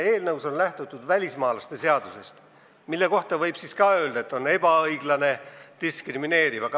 Eelnõus on lähtutud välismaalaste seadusest, mille kohta võib siis ka öelda, et see on ebaõiglane ja diskrimineeriv.